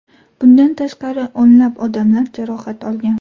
Bundan tashqari, o‘nlab odamlar jarohat olgan.